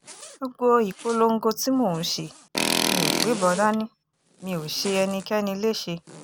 gbogbo ìpolongo tí mò ń ṣe mi ò gbébọn dání mi ò ṣe ẹnikẹ́ni léṣe